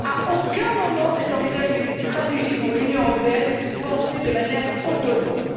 À aucun moment n'est envisagée une stratégie pour l'Union européenne pensée de manière autonome.